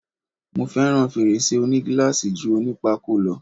Mo fẹ́ràn fèrèsé òní gíláàsì ju oní pákó lọ.